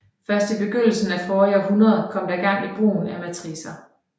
Først i begyndelsen af forrige århundrede kom der gang i brugen af matricer